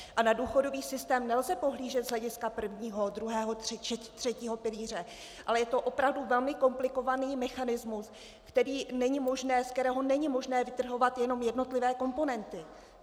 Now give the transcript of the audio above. Na důchodový systém nelze pohlížet z hlediska prvního, druhého, třetího pilíře, ale je to opravdu velmi komplikovaný mechanismus, ze kterého není možné vytrhovat jenom jednotlivé komponenty.